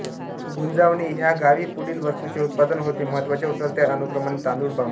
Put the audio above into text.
गुंजावणे ह्या गावी पुढील वस्तूंचे उत्पादन होते महत्त्वाच्या उतरत्या अनुक्रमाने तांदुळ बांबू